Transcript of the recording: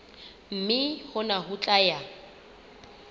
mme hona ho tla ya